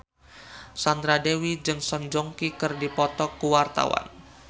Sandra Dewi jeung Song Joong Ki keur dipoto ku wartawan